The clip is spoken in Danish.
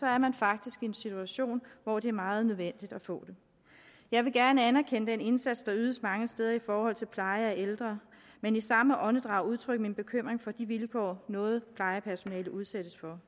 er man faktisk i en situation hvor det er meget nødvendigt at få det jeg vil gerne anerkende den indsats der ydes mange steder i forhold til pleje af ældre men i samme åndedrag udtrykke min bekymring for de vilkår noget plejepersonale udsættes for